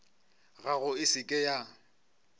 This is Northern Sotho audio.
gago e se ke ya